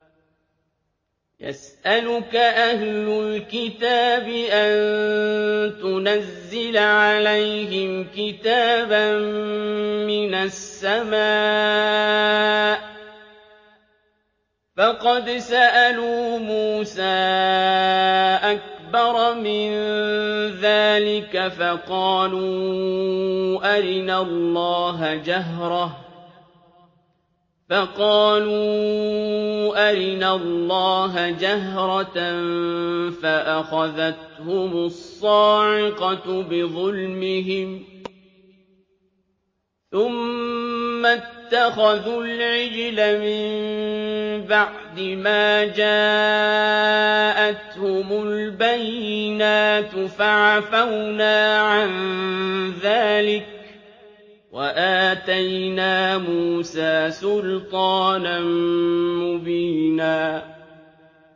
يَسْأَلُكَ أَهْلُ الْكِتَابِ أَن تُنَزِّلَ عَلَيْهِمْ كِتَابًا مِّنَ السَّمَاءِ ۚ فَقَدْ سَأَلُوا مُوسَىٰ أَكْبَرَ مِن ذَٰلِكَ فَقَالُوا أَرِنَا اللَّهَ جَهْرَةً فَأَخَذَتْهُمُ الصَّاعِقَةُ بِظُلْمِهِمْ ۚ ثُمَّ اتَّخَذُوا الْعِجْلَ مِن بَعْدِ مَا جَاءَتْهُمُ الْبَيِّنَاتُ فَعَفَوْنَا عَن ذَٰلِكَ ۚ وَآتَيْنَا مُوسَىٰ سُلْطَانًا مُّبِينًا